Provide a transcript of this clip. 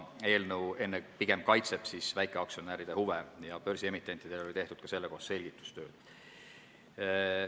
Eelnõu kaitseb pigem väikeaktsionäride huve ja börsiemitendid olid selle kohta ka selgitustööd teinud.